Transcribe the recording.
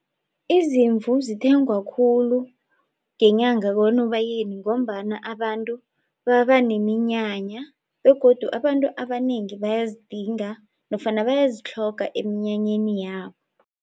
Iziimvu zithengwa khulu ngenyanga koNobayeni ngombana abantu baba nemiinyanya begodu abantu abanengi bayazidinga nofana bayazitlhoga emnyanyeni yabo.